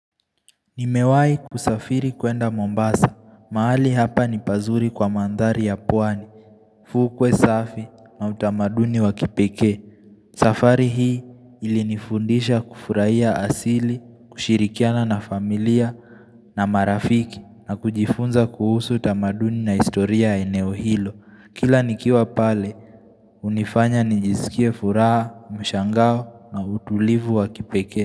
Nimewai kusafiri kwenda Mombasa, mahali hapa nipazuri kwa mandhari ya pwani, fukwe safi na utamaduni wakipekee. Safari hii ilinifundisha kufuraiya asili, kushirikiana na familia na marafiki na kujifunza kuhusu utamaduni na historia ya eneo hilo. Kila nikiwa pale, unifanya nijizikie furaha, mshangao na utulivu wa kipekee.